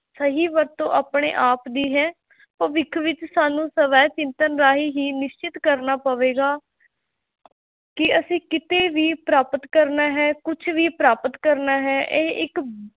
ਸਹੀ ਵਰਤੋਂ ਆਪਣੇ ਆਪ ਦੀ ਹੈ ਭਵਿੱਖ ਵਿੱਚ ਸਾਨੂੰ ਸਵੈ ਚਿੰਤਨ ਰਾਹੀਂ ਹੀ ਨਿਸ਼ਚਿਤ ਕਰਨਾ ਪਵੇਗਾ ਕਿ ਅਸੀਂ ਕਿਤੇ ਵੀ ਪ੍ਰਾਪਤ ਕਰਨਾ ਹੈ ਕੁਛ ਵੀ ਪ੍ਰਾਪਤ ਕਰਨਾ ਹੈ ਇਹ ਇੱਕ